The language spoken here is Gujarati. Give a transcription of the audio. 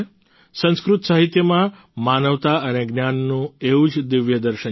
સંસ્કૃત સાહિત્યમાં માનવતા અને જ્ઞાનનું એવું જ દિવ્ય દર્શન છે